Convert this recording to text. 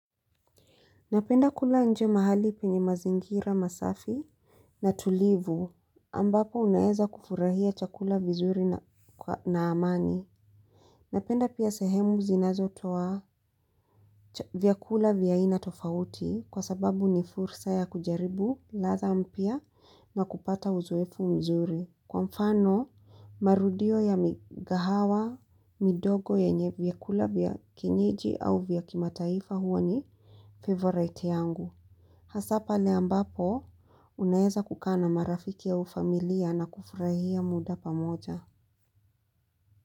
Napenda kula nje mahali penye mazingira masafi na tulivu ambapo unaeza kufurahia chakula vizuri na amani. Napenda pia sehemu zinazotoa vyakula vya aina tofauti kwa sababu ni fursa ya kujaribu ladha mpya na kupata uzoefu mzuri. Kwa mfano marudio ya mikahawa, midogo yenye vyakula vya kienyeji au vya kimataifa huwa ni favourite yangu. Hasa pale ambapo, unaeza kukaa na marafiki au familia na kufurahia muda pamoja.